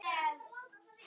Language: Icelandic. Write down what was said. Ómar, hvíl þú í friði.